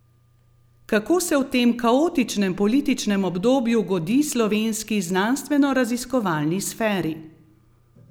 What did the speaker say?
Kako se v tem kaotičnem političnem obdobju godi slovenski znanstvenoraziskovalni sferi?